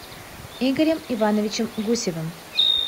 игорем ивановичем гусевым